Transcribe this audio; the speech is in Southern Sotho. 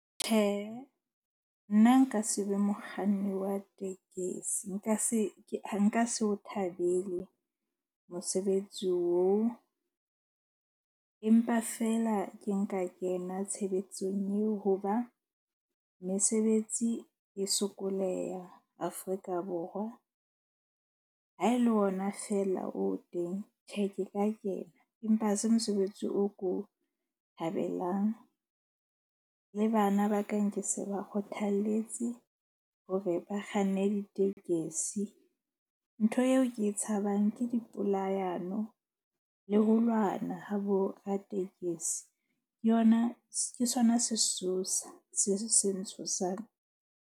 Tjhe, nna nka se be mokganni wa tekesi nka se o thabele mosebetsi oo. Empa feela ke nka kena tshebetsong eo ho ba mesebetsi e sokoleha Afrika Borwa. Ha e le ona feela o teng tjhe ke ka kena. Empa ha se mosebetsi o ko thabelang. Le bana ba ka, nke se ba kgothalletse hore ba kganne ditekesi. Ntho eo ke e tshabang ke dipolayano le ho lwana ha boratekesi. Ke yona, ke sona sesosa se seng se ntshosang.